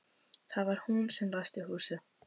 Það var hún sem læsti húsinu.